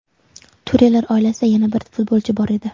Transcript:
Turelar oilasida yana bir futbolchi bor edi.